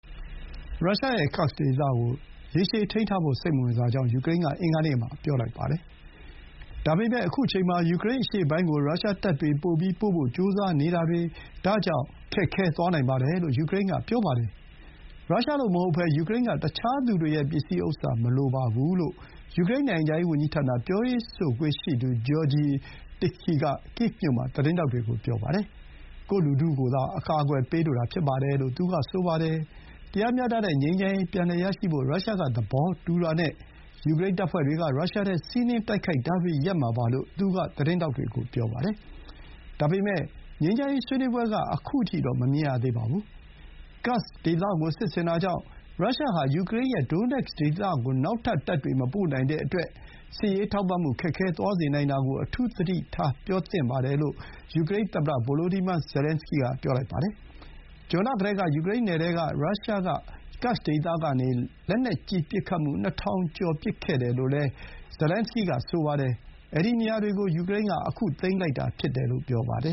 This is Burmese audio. ရုရှားရဲ့ Kursk ဒေသကို ရေရှည်ထိန်းထားဖို့ စိတ်မဝင်စားကြောင်း ယူကရိန်းက အင်္ဂါနေ့ကပြောပါတယ်။ ဒါပေမဲ့ ခုအချိန်မှာ ဒါကြောင့် ယူကရိန်းအရှေ့ပိုင်းကို ရုရှားတပ်တွေပိုပြီးပို့ဖို့ ကြိုးစားနေတာတွေ ခက်ခဲသွားနိုင်တယ် လို့ ယူကရိန်းက ပြောပါတယ်။ “ရုရှားလိုမဟုတ်ဘဲ ယူကရိန်းက တခြားသူတွေရဲ့ပစ္စည်းဥစ္စာ မလိုပါဘူး” လို့ ယူကရိန်း နိုင်ငံခြားရေးဝန်ကြီးဌာန ပြောရေးဆိုခွင့်ရှိသူ Georgiy Tykhy က ကိဗ်မြို့မှာ သတင်းထောက်တွေကို ပြောပါတယ်။ ကိုယ့်လူထုကိုသာ အကာအကွယ်ပေးလိုတာ ဖြစ်ပါတယ်လို့ သူကဆိုပါတယ်။ “တရားမျှတတဲ့ငြိမ်းချမ်းရေးပြန်လည်ရရှိဖို့ ရုရှားက သဘောတူတာနဲ့ ယူကရိန်းတပ်ဖွဲ့တွေက ရုရှားထဲ စီးနင်းတိုက်ခိုက်တာတွေ ရပ်မှာပါ” လို့ သူက သတင်းထောက်တွေကို ပြောပါတယ်။ ဒါပေမဲ့ ငြိမ်းချမ်းရေးဆွေးနွေးပွဲက ခုအထိတော့ မမြင်ရသေးပါဘူး။ Kursk ဒေသကိုစစ်ဆင်တာကြောင့် ရုရှား ဟာ ယူကရိန်းရဲ့ Donetsk ဒေသကို နောက်ထပ် တပ်တွေမပို့နိုင်တဲ့ အတွက် စစ်ရေးထောက်ပံ့မှု ခက်ခဲသွားစေတာကို အထူးပြု ပြောသင့်ပါတယ်လို့ ယူကရိန်း သမ္မတ Volodymyr Zelenskyy က ပြောပါတယ်။ ဇွန်လကတည်းက ယူကရိန်းနယ်ထဲကို ရုရှားက Kursk ဒေသကနေ လက်နက်ကြီး ပစ်ခတ်မှု ၂,၀၀၀ ကျော် ရှိခဲ့တယ်လို့လည်းZelenskyy က ဆိုပါတယ်။ အဲဒီနေရာတွေကို ယူကရိန်းက သိမ်းလိုက်တာဖြစ်တယ်လို့ ပြောပါတယ